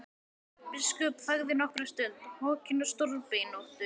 Biskup þagði nokkra stund, hokinn og stórbeinóttur.